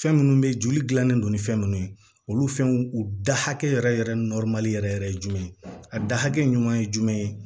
Fɛn minnu bɛ joli dilannen don ni fɛn ninnu ye olu fɛnw u da hakɛ yɛrɛ yɛrɛ yɛrɛ yɛrɛ ye jumɛn ye a da hakɛ ɲuman ye jumɛn ye